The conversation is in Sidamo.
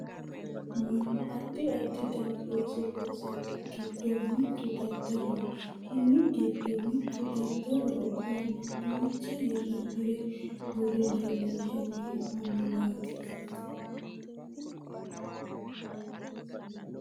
mannu addi addi dani looso loosannohu giddo mittu daddaloho konni giddo mittu daddaloho koyeeno duucha hirrannire worre leellinshanni hee'noonniwaati .